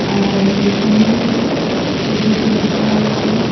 আর এখানে প্যাকেটও রাখা আছে।